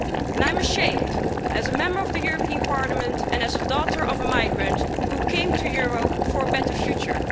I'm ashamed, as a Member of the European Parliament and as the daughter of a migrant who came to Europe for a better future.